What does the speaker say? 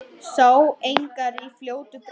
Sá engar í fljótu bragði.